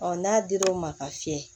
n'a dir'o ma ka fiyɛ